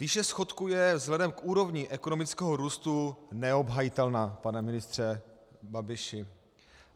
Výše schodku je vzhledem k úrovni ekonomického růstu neobhajitelná, pane ministře Babiši.